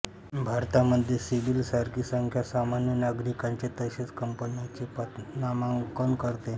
भारतामध्ये सिबिल सारखी संस्था सामान्य नागरिकांचे तसेच कंपन्यांचे पतमानांकन करते